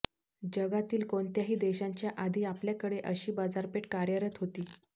जगातील कोणत्याही देशांच्या आधी आपल्याकडे अशी बाजारपेठ कार्यरत होती